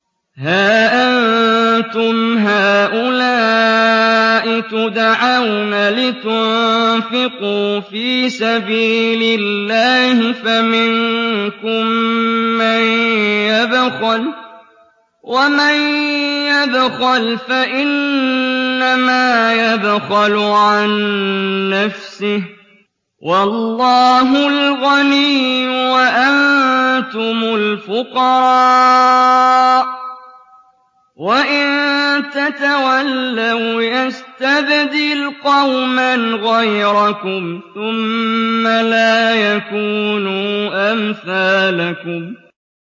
هَا أَنتُمْ هَٰؤُلَاءِ تُدْعَوْنَ لِتُنفِقُوا فِي سَبِيلِ اللَّهِ فَمِنكُم مَّن يَبْخَلُ ۖ وَمَن يَبْخَلْ فَإِنَّمَا يَبْخَلُ عَن نَّفْسِهِ ۚ وَاللَّهُ الْغَنِيُّ وَأَنتُمُ الْفُقَرَاءُ ۚ وَإِن تَتَوَلَّوْا يَسْتَبْدِلْ قَوْمًا غَيْرَكُمْ ثُمَّ لَا يَكُونُوا أَمْثَالَكُم